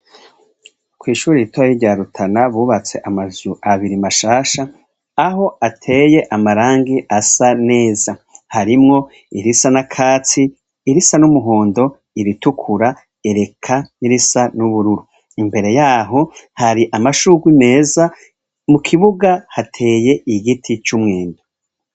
Kw'ishuri iritora y'iryarutana bubatse amaju abiri mashasha aho ateye amarangi asa neza harimwo irisa na katsi irisa n'umuhondo iritukura ereka n'irisa n'ubururu imbere yaho hari amashurwa meza mu kibuga hateye ye i giti c'umwendu.